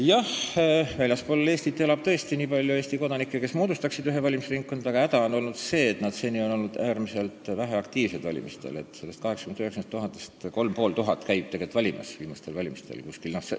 Jah, väljaspool Eestit elab tõesti nii palju Eesti kodanikke, et nad moodustaksid ühe valimisringkonna, aga häda on olnud see, et nad on seni olnud valimistel äärmiselt väheaktiivsed, nendest 80 000 – 90 000 inimesest on viimastel valimistel käinud valimas 3500.